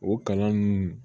O kalan nunnu